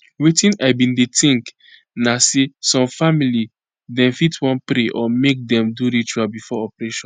wetin i bin dey think na say some family dem fit wan pray or make dem do ritual before operation